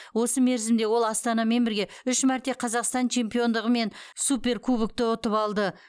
осы мерзімде ол астанамен бірге үш мәрте қазақстан чемпиондығы мен суперкубокты ұтып алды